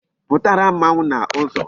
Putara mmanwu n'uzo